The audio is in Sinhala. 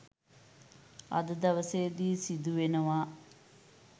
අද දවසේදි සිදු වෙනවා.